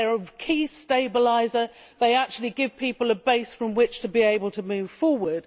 they are a key stabiliser, and they actually give people a base from which to be able to move forward.